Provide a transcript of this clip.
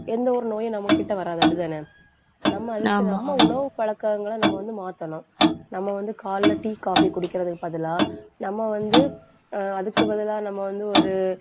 எந்த ஒரு நோயும், நம்மகிட்ட வராது அப்படித்தானே? நம்ம உணவு பழக்கங்களை நம்ம வந்து மாத்தணும் நம்ம வந்து காலையில tea, coffee குடிக்கிறதுக்கு பதிலா நம்ம வந்து ஆஹ் அதுக்கு பதிலா நம்ம வந்து ஒரு